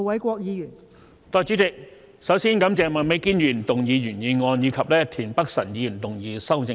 代理主席，首先感謝麥美娟議員提出原議案，以及田北辰議員提出修正案。